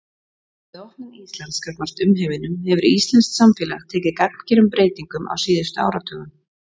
Með opnun Íslands gagnvart umheiminum hefur íslenskt samfélag tekið gagngerum breytingum á síðustu áratugum.